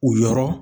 U yɔrɔ